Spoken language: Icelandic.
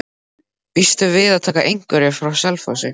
Býstu við að taka einhverja frá Selfossi?